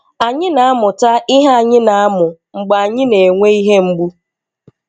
Anyị na-amụta ihe anyị na-amụ mgbe anyị na-enwe ihe mgbu.